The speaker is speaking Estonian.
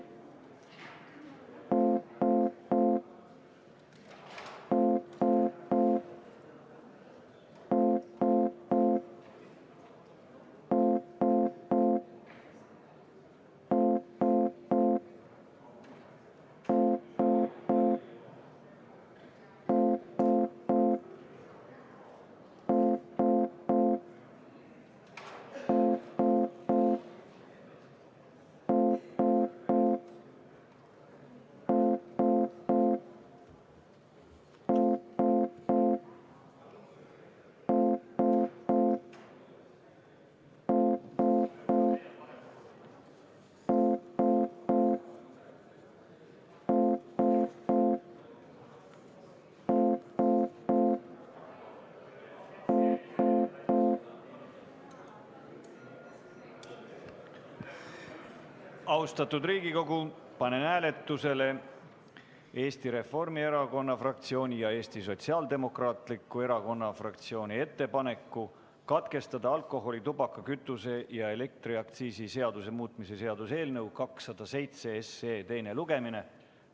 Austatud Riigikogu, panen hääletusele Eesti Reformierakonna fraktsiooni ja Eesti Sotsiaaldemokraatliku Erakonna fraktsiooni ettepaneku katkestada alkoholi-, tubaka-, kütuse- ja elektriaktsiisi seaduse muutmise seaduse eelnõu 207 teine lugemine.